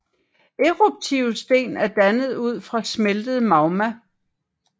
Eruptive sten er dannet ud fra smeltet magma